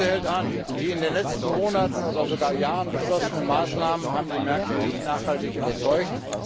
Die Krise hält an. Die in den letzten Monaten oder sogar Jahren beschlossenen Maßnahmen haben die Märkte nicht nachhaltig überzeugt.